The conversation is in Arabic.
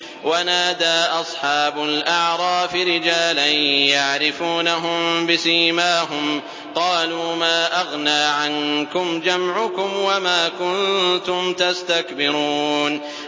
وَنَادَىٰ أَصْحَابُ الْأَعْرَافِ رِجَالًا يَعْرِفُونَهُم بِسِيمَاهُمْ قَالُوا مَا أَغْنَىٰ عَنكُمْ جَمْعُكُمْ وَمَا كُنتُمْ تَسْتَكْبِرُونَ